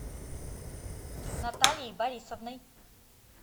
натальей борисовной